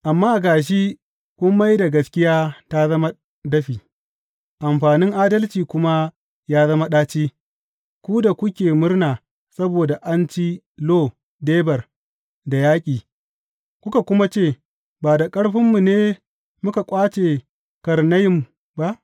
Amma ga shi kun mai da gaskiya ta zama dafi amfanin adalci kuma ya zama ɗaci, ku da kuke murna saboda an ci Lo Debar da yaƙi kuka kuma ce, Ba da ƙarfinmu ne muka ƙwace Karnayim ba?